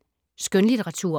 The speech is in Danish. Skønlitteratur